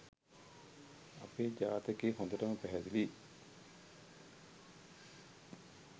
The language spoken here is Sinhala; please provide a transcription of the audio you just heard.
අපේ ජාතකේ හොදටම පැහැදිලියි